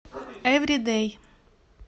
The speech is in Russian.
эври дэй